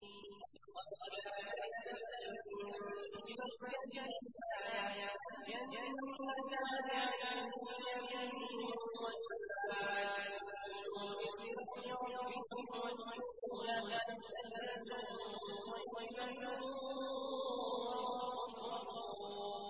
لَقَدْ كَانَ لِسَبَإٍ فِي مَسْكَنِهِمْ آيَةٌ ۖ جَنَّتَانِ عَن يَمِينٍ وَشِمَالٍ ۖ كُلُوا مِن رِّزْقِ رَبِّكُمْ وَاشْكُرُوا لَهُ ۚ بَلْدَةٌ طَيِّبَةٌ وَرَبٌّ غَفُورٌ